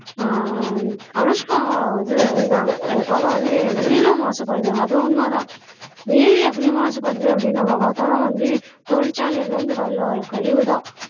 ஆஹ் அனுஷ்கா வந்து சொல்லியிருந்தாங்க அது போல வந்து நீரும் மாசுபடுது அது உண்மைதான் நீர் எப்படி மாசுபடுது அப்படின்னு நம்ம பார்த்தோம்ன்னா வந்து தொழிற்சாலையில இருந்து வெளில வர்ற கழிவுதான்